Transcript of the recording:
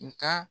Nga